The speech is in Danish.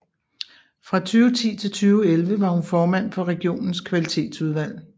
Fra 2010 til 2011 var hun formand for regionens kvalitetsudvalg